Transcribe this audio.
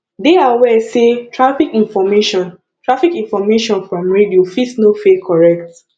dey aware sey traffic information traffic information from radio fit no fey correct